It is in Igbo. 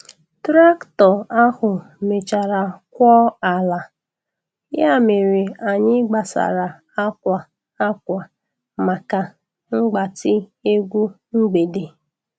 Traktọ ahụ mechara kwọọ ala, ya mere anyị gbasara akwa akwa maka mgbatị egwu mgbede.